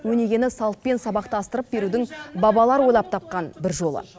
өнегені салтпен сабақтастырып берудің бабалар ойлап тапқан бір жолы